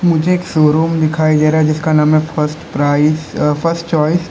मुझे एक शोरूम दिखाई दे रहा जिसका नाम है फर्स्ट प्राइस फर्स्ट चॉइस ।